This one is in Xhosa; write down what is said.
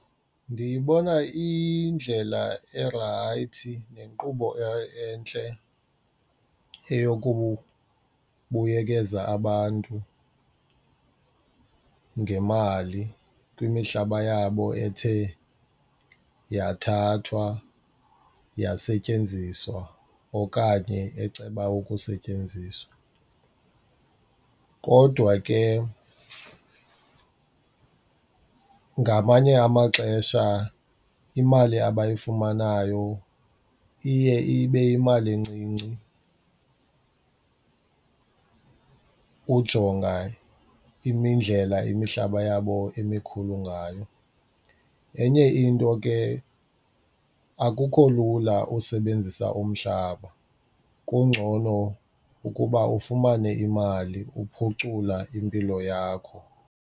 Ndiyibona iyindlela erayithi nenkqubo entle eyokubuyekeza abantu ngemali kwimihlaba yabo ethe yathathwa yasetyenziswa okanye eceba ukusetyenziswa. Kodwa ke ngamanye amaxesha imali abayifumanayo iye ibe yimali encinci ujonga imindlela imihlaba yabo emikhulu ngayo. Enye into ke akukho lula usebenzisa umhlaba, kungcono ukuba ufumane imali uphucula impilo yakho.